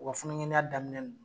U ka funangɛniya daminɛ na